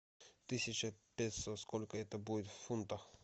тысяча песо сколько это будет в фунтах